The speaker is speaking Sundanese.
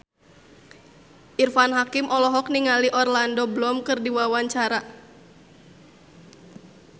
Irfan Hakim olohok ningali Orlando Bloom keur diwawancara